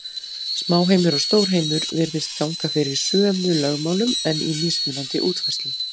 Smáheimur og stórheimur virðist ganga fyrir sömu lögmálum, en í mismunandi útfærslum.